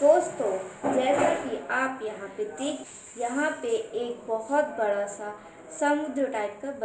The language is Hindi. दोस्तो जैसा कि आप यहां पर देख-- यहां पे एक बहुत बड़ा सा समुद्र टाइप का बना--